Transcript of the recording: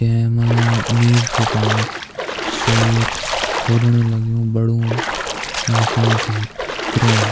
ऐमा नील च पड़नी सो यि खुदण लग्युं बडू मशीन च ये क्रेन ।